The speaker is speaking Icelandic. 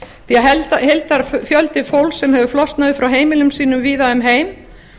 því að heildarfjöldi fólks sem hefur flosnað upp frá heimilum sínum víða um heim